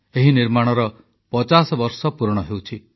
ଏହି ନିର୍ମାଣର ପଚାଶ ବର୍ଷ ପୂରଣ ହେଉଛି